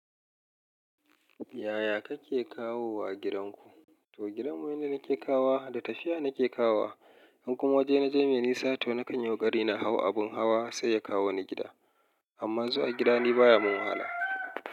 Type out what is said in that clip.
Yaya kake kawo wa gidanku? To gidan mu ne nake kawo, da tafiya nake kawo. In kuma waje na je nisa to na kan yi kokari na hau abun hawa sai ya kawo ni gida. Amma zuwa gida ni baya mun wahala.